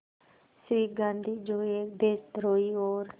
श्री गांधी जो एक देशद्रोही और